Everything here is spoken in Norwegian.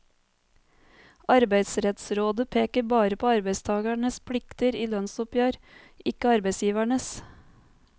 Arbeidsrettsrådet peker bare på arbeidstagernes plikter i lønnsoppgjør, ikke arbeidsgiveres.